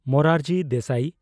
Morarji Desai